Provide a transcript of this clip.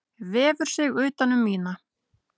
Vefur sig utan um mína.